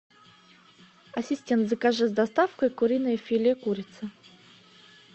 ассистент закажи с доставкой куриное филе курица